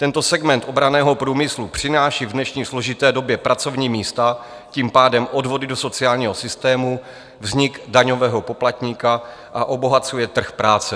Tento segment obranného průmyslu přináší v dnešní složité době pracovní místa, tím pádem odvody do sociálního systému, vznik daňového poplatníka, a obohacuje trh práce.